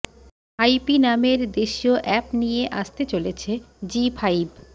হাইপি নামের দেশিয় অ্যাপ নিয়ে আসতে চলেছে জি ফাইভ